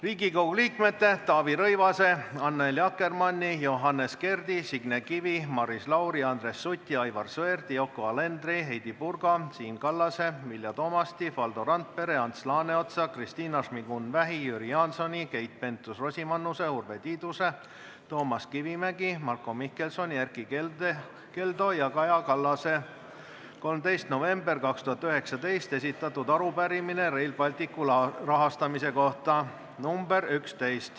Riigikogu liikmete Taavi Rõivase, Annely Akkermanni, Johannes Kerdi, Signe Kivi, Maris Lauri, Andres Suti, Aivar Sõerdi, Yoko Alenderi, Heidy Purga, Siim Kallase, Vilja Toomasti, Valdo Randpere, Ants Laaneotsa, Kristina Šmigun-Vähi, Jüri Jaansoni, Keit Pentus-Rosimannuse, Urve Tiiduse, Toomas Kivimägi, Marko Mihkelsoni, Erkki Keldo ja Kaja Kallase 13. novembril 2019 esitatud arupärimine Rail Balticu rahastamise kohta .